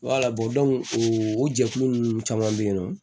o jɛkulu ninnu caman bɛ yen nɔ